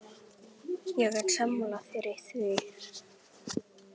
Ég er sammála þér í því.